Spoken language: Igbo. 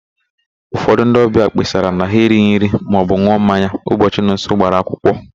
Ụfọdụ ndị ọbịa kpesara na ha erighi nri maọbụ n̄ụọ mmanya ụbọchị Nonso gbara akwụkwọ.